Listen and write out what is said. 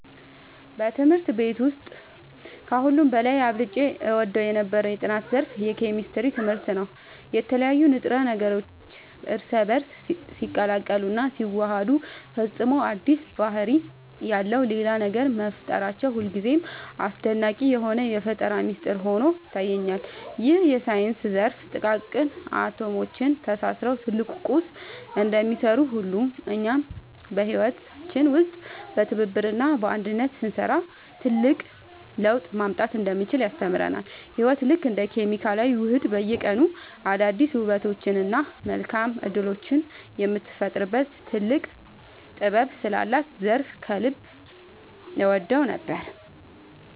በትምህርት ቤት ውስጥ ከሁሉ በላይ አብልጬ እወደው የነበረው የጥናት ዘርፍ የኬሚስትሪ ትምህርት ነበር። የተለያዩ ንጥረ ነገሮች እርስ በእርስ ሲቀላቀሉና ሲዋሃዱ ፈጽሞ አዲስ ባህሪ ያለው ሌላ ነገር መፍጠራቸው ሁልጊዜም አስደናቂ የሆነ የፈጠራ ሚስጥር ሆኖ ይታየኛል። ይህ የሳይንስ ዘርፍ ጥቃቅን አቶሞች ተሳስረው ትልቅ ቁስ እንደሚሰሩ ሁሉ፣ እኛም በህይወታችን ውስጥ በትብብርና በአንድነት ስንሰራ ትልቅ ለውጥ ማምጣት እንደምንችል ያስተምረናል። ህይወት ልክ እንደ ኬሚካላዊ ውህደት በየቀኑ አዳዲስ ውበቶችንና መልካም እድሎችን የምትፈጥርበት ጥልቅ ጥበብ ስላላት ዘርፉን ከልብ እወደው ነበር።